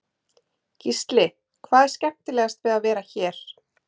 Gísli: Hvað er skemmtilegast við að vera hér?